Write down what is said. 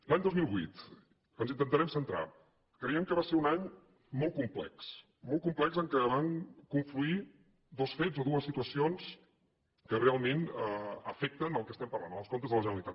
l’any dos mil vuit ens intentarem centrar creiem que va ser un any molt complex molt complex en què van confluir dos fets o dues situacions que realment afecten el que estem parlant els comptes de la generalitat